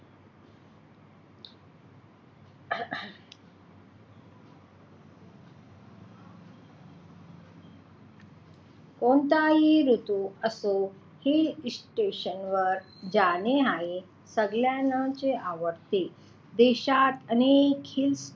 कोणताही ऋतू असो, hill station वर जाणे हे सगळ्यांनाच आवडते. देश्यात अनेक हिल स्टेशन आहेत.